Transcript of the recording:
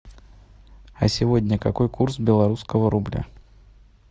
а сегодня какой курс белорусского рубля